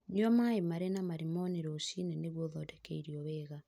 Nyua maĩ marĩ na marimoni rũcinĩ nĩguo ũthondeke irio wega.